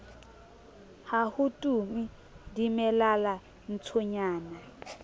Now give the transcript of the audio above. ha ho tume dimelala ntshonyana